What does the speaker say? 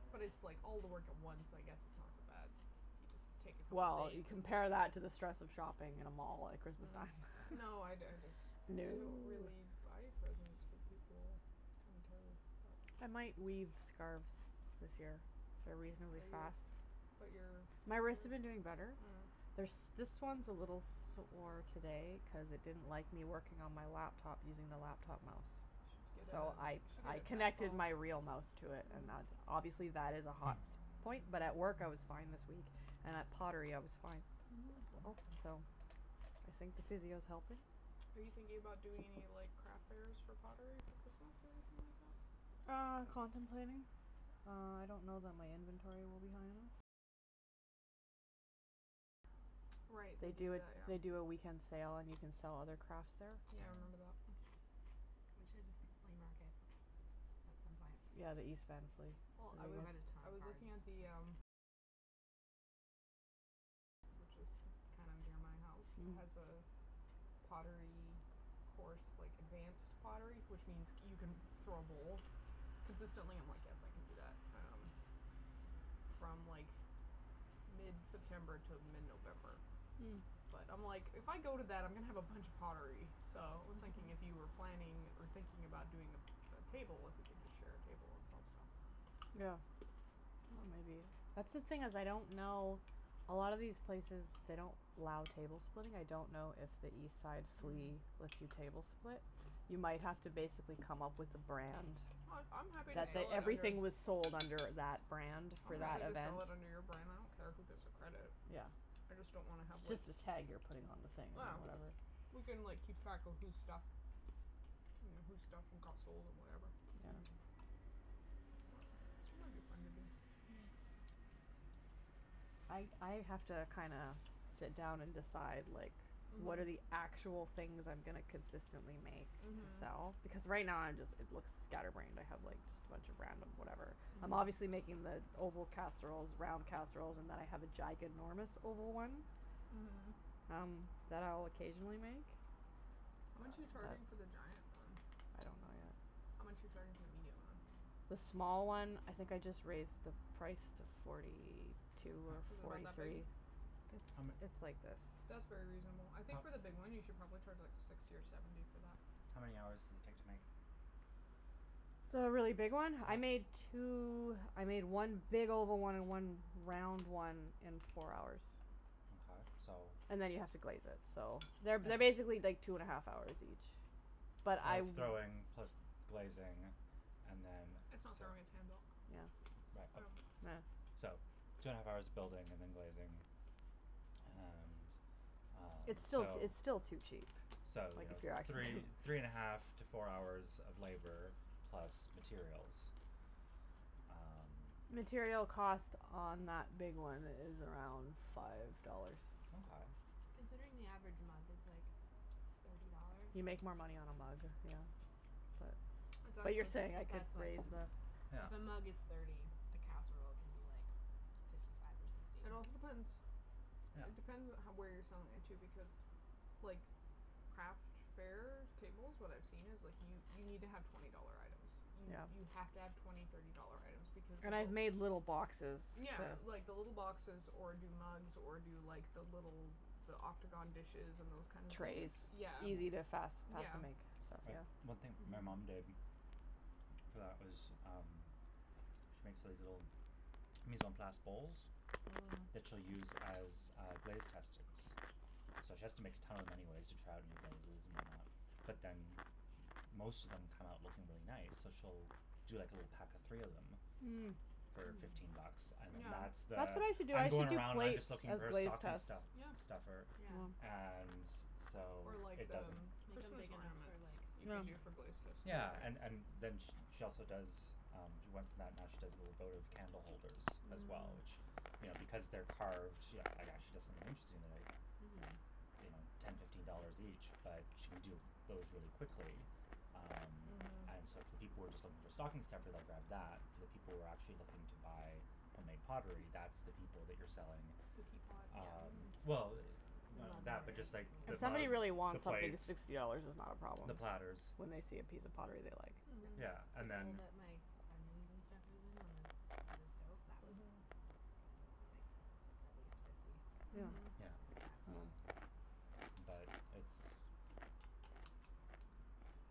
Yeah. But it's like all the work at once, I guess it's not so bad. You just take a couple Well, days you and just compare that do it. to the stress of shopping at a mall at Christmas time. Mm. No, I d- I dis- No. I don't really buy presents for people. Kinda terrible, but I might weave scarves this year. They're reasonably Are you fast. But your My wrists have been doing better. Mm. They're s- this one's a little sore today cuz it didn't like me working on my laptop using the laptop mouse. You should get So I a You should get I a connected trackball. my real mouse to it and Mhm. that, obviously that is a Hmm. hot s- point, but at work I was fine this week. And at pottery, I was fine. Mhm. So, I think the physio's helping. Are you thinking about doing any like craft fairs for pottery for Christmas, or anything like that? Uh, contemplating. Uh, I don't know that my inventory will be high enough. Right, they They do do it, that, they yeah. do a weekend sale and you can sell other crafts there. Yeah, I remember Mm. that. We should flea market at some point. Yeah, the East Van Flea. Well I was I was looking at the, um Which is kind of near my house It has Oh. a pottery course, like, advanced pottery which means c- you can throw a bowl. Consistently, I'm like "yes, I can do that." Um From like, mid-september to mid-november. Mm. But, I'm like, if I go to that, I'm gonna have a bunch of pottery. So I was thinking if you were planning or thinking about doing a a table, if we could just share a table and sell stuff. That's the thing is, I don't know, a lot of these places, they don't allow table splitting, I don't know if the East Side Flea Hmm. lets you table split. You might have to basically come up with a brand. I'm happy to That, sell, that like, under everything was sold under that brand I'm for happy that to event. sell it under your brand, I don't care who gets the credit. Yeah. I just don't wanna have like It's just a tag you're putting on the thing or whatever. Ah. We can, like, keep track of whose stuff Mm whose stuff and got sold, and whatever. Yeah. Mhm. It might be fun to do. I I have to kinda sit down and decide like, what are Mhm. actual things I'm gonna consistently make to Mhm. sell, because right now I'm just, it looks scatterbrained, I have like just a bunch of random whatever. I'm Mhm. obviously making the oval casseroles, round casseroles, and then I have a giganormous oval one Mhm. um, that I'll occasionally make. How much are But you charging for the giant one? I don't know yet. How much are you charging for the medium one? The small one, I think I just raised the price to forty two or H- Is it about forty that big? three. It's How m- it's like this. That's very reasonable I think for How the big one, you should probably charge like, sixty or seventy for that. How many hours does it take to make? The really big one? I How made two, I made one big oval one and one round one in four hours. Mkay, so And then you have to glaze it, so They're, they're Yeah. basically like two and a half hours each. But I Of w- throwing plus glazing and then It's not throwing, it's handle. Yeah. Yeah. So, two and a half hours of building and then glazing. And Um, It's still t- it's so still too cheap. So, you Like know, if you're actually three three and a half to four hours of labor plus materials. Um Material cost on that big one is around five dollars. Mkay. Considering the average amount is like, thirty dollars. You make more money on a mug, yeah. But Exactly. but you're saying I But could that's like, raise the Yeah. if a mug is thirty, a casserole can be like fifty five or sixty. It also depends It Yeah. depends what how where you're selling it, too. Because, like, craft fairs, tables, what I've seen is like, you you need to have twenty dollar items. You Yeah. you have to have twenty, thirty dollar items because And I've of made little boxes Yeah that like, the little boxes, or do mugs, or do like, the little the octagon dishes and those kinda things. Trays. Yeah. Easy to, Mm. fast, fast Yeah. to make, so But one thing my mom did Mhm. for that was, um she makes these little mise en place bowls Mhm. that she'll use as, uh, glaze testings. So she has to make a ton of them anyways to try out new glazes and whatnot. But then m- most of them come out looking really nice, so she'll do like a little pack of three of them Mm. for fifteen bucks, Mm. and then Yeah. that's That's the what I should do, "I'm I going should do around and I'm plates just looking as for a glaze stocking tests. stu- Yeah. stuffer" Yeah. Yeah. and so Or like, it the doesn't m- Make 'em Christmas big enough for ornaments. like, You could do sushi. Yeah. for glaze tests too, Yeah, right? and and then sh- she also does um, she went from that and now she does little votive candle holders as well, Mm. which, you know because they're carved, you know, actually does something interesting, they're like Mhm. you know, ten, fifteen dollars each but she can do those really quickly. Um And so Mhm. if the people were just looking for stocking stuffer they'll grab that. For the people who are actually looking to buy homemade pottery, that's the people that you're selling The teapots. um Well, The none of mug that, but just hoarders, like like the If me. somebody mugs, really the wants something, the plates sixty dollars is not a problem. the platters. When they see a piece of pottery they like. Mhm. Yeah, and People then that make onions and stuff moving on the by the stove, that was, Mhm. like, at least fifty. Yeah. Mhm. Yeah. Something like Um that. But it's